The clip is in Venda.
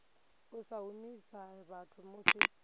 u sa humisa vhathu musi